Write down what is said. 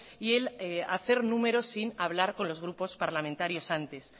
y el hacer números sin hablar con los grupos parlamentarios antes